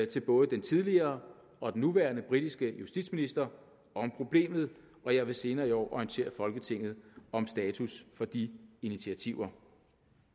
til både den tidligere og den nuværende britiske justitsminister om problemet og jeg vil senere i år orientere folketinget om status for de initiativer